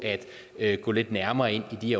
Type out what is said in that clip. at gå lidt nærmere ind i de